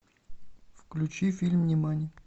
включи фильм нимани